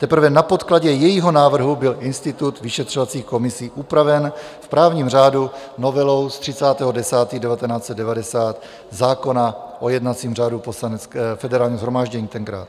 Teprve na podkladě jejího návrhu byl institut vyšetřovacích komisí upraven v právním řádu novelou z 30. 10. 1990 zákona o jednacím řádu Poslanecké - Federálního shromáždění tenkrát.